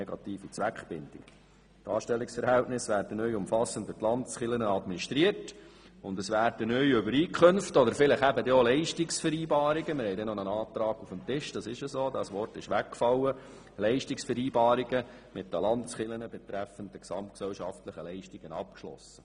Die Anstellungsverhältnisse werden neu umfassend durch die Landeskirchen administriert, und es werden neue Übereinkünfte oder eben Leistungsvereinba rungen mit den Landeskirchen betreffend die gesamtgesellschaftlichen Leistungen abgeschlossen.